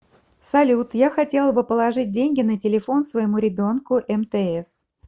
салют я хотела бы положить деньги на телефон своему ребенку мтс